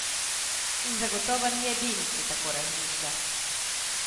In zagotovo ni edini, ki tako razmišlja.